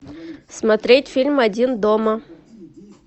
смотреть фильм один дома